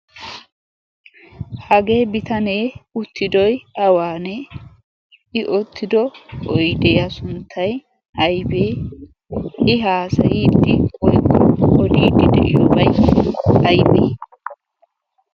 Hagee bitanee uttidoy awaanee? I uttido oydiya sunttay aybee? I haasayiiddi/odiiddi de'iyobay aybee?